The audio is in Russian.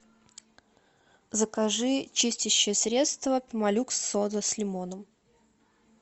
закажи чистящее средство пемолюкс сода с лимоном